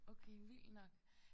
Okay vildt nok